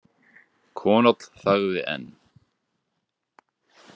Konáll þagði enn.